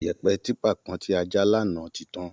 Yẹ̀ẹ̀pẹ̀ típa kan tí a já lánàá ti tán